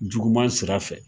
Juguman sira fɛ.